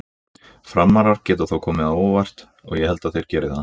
Frammarar geta þó komið á óvart og ég held þeir geri það.